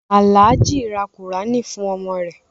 Alhaji ra Kùránì fún ọmọ rẹ.